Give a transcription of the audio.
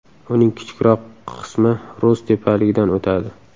Uning kichikroq qismi Rus tepaligidan o‘tadi.